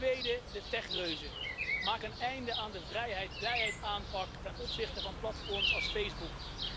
Ten tweede, de techreuzen maak een einde aan de vrijheid, blijheid aanpak ten opzichte van platforms als Facebook.